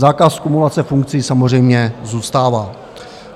Zákaz kumulace funkcí samozřejmě zůstává.